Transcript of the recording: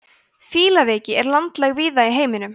fílaveiki er landlæg víða í heiminum